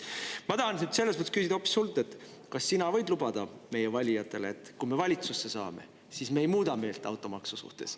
Ma tahan selles mõttes hoopis küsida sinult, kas sina võid lubada meie valijatele, et kui me valitsusse saame, siis me ei muuda meelt automaksu suhtes.